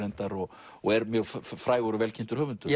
og og er mjög frægur og vel kynntur höfundur